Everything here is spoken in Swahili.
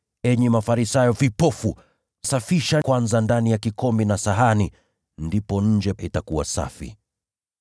Ewe Farisayo kipofu! Safisha ndani ya kikombe na sahani kwanza, ndipo nje itakuwa safi pia.